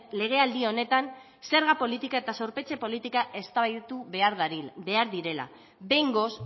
legealdi honetan zerga politika eta zorpetze politika eztabaidatu behar direla behingoz